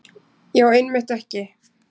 Já, einmitt ekki.